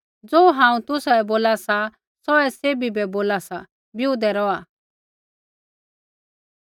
ज़ो हांऊँ तुसाबै बोला सा सौहै सैभी बै बोला सा बिऊदै रौहा